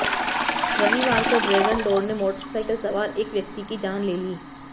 रविवार को ड्रैगन डोर ने मोटरसाइकिल सवार एक व्यक्ति की जान ले ली